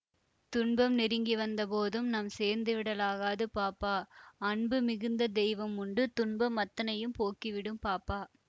துன்பம் நெருங்கிவந்த போதும் நாம் சோர்ந்துவிட லாகாது பாப்பா அன்பு மிகுந்ததெய்வ முண்டு துன்பம் அத்தனையும் போக்கிவிடும் பாப்பா